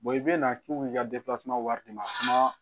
i bɛ na k'i b'i ka wari di ma